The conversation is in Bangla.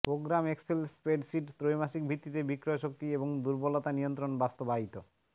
প্রোগ্রাম এক্সেল স্প্রেডশিট ত্রৈমাসিক ভিত্তিতে বিক্রয় শক্তি এবং দুর্বলতা নিয়ন্ত্রণ বাস্তবায়িত